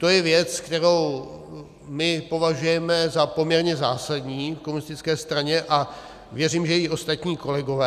To je věc, kterou my považujeme za poměrně zásadní v komunistické straně, a věřím, že i ostatní kolegové.